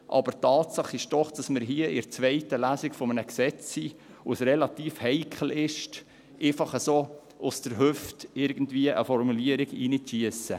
Aber die Tatsache ist doch, dass wir hier in der zweiten Lesung eines Gesetzes sind, bei dem es relativ heikel ist, irgendeine Formulierung einfach so aus der Hüfte zu schiessen.